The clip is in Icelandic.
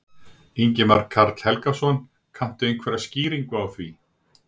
Ingimar Karl Helgason: Kanntu einhverjar skýringar á því?